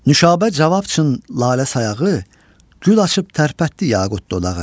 Nuşabə cavab üçün Lalə sayağı gül açıb tərpətdi yaqut dodağı.